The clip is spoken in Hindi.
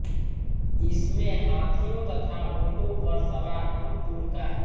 इसमें हाथियों तथा ऊँटों पर सवार अन्तपुर का